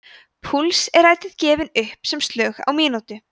púls er ætíð gefinn upp sem slög á mínútu